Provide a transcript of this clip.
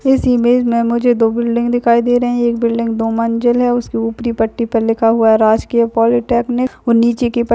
इस इमेज में मुझे दो बिल्डिंग दिखाई दे रही हैं एक बिल्डिंग दो मंजिल है उसके ऊपरी पट्टी पर लिखा हुआ है राजकीय पॉलीटेक्निक और नीचे के पट्टी पर --